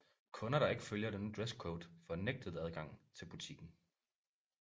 Kunder der ikke følger denne dresscode får nægtet adgang til butikken